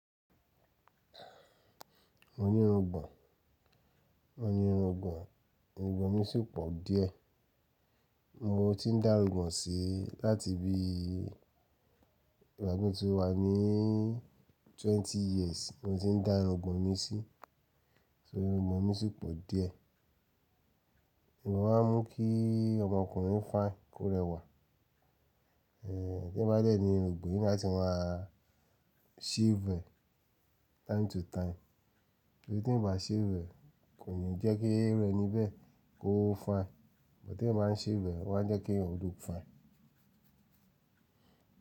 Mo ní irun ìgbọ̀ǹ, mo ní irun ìgbọ̀ǹ, irun ìgbọ̀ǹ mi sì pọ̀ díẹ̀. Mo ti ń dá irun ìgbọ̀ǹ sí láti bí ìgbà tí mo ti wà ní twenty years. Mo ti ń dá irun ìgbọ̀ǹ mi sí, só irun ìgbọ̀ǹ mi sì pọ̀ díẹ̀. Ìgbọ̀ǹ máa ń mú kí ọmọkùnrin fine, kó rẹwà. Eh tí ó bá dẹ̀ ní irun ìgbọ̀ǹ, ní láti máa shave rẹ̀ time to time. Torí tí ì eyan o bá ṣhave e kò nií jẹ́ kí iru eni bẹ́ẹ́ kó fine, bọ̀ tí ì bá ṣhave, ó máa jẹ́ kí ọ look fine.